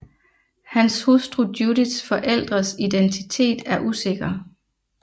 Hans hustru Judiths forældres identitet er usikker